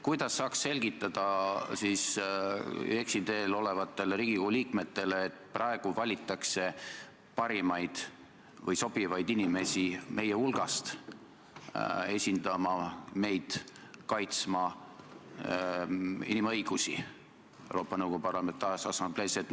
Kuidas saaks selgitada eksiteel olevatele Riigikogu liikmetele, et praegu valitakse parimaid või sobivaid inimesi meie hulgast esindama meid inimõiguste kaitsmisel Euroopa Nõukogu Parlamentaarses Assamblees?